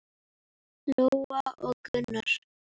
Lóa og Gunnar.